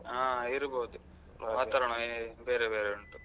ಹಾ ಇರ್ಬೋದು ವಾತಾವರಣ ಬೇರೆ ಬೇರೆ ಉಂಟು.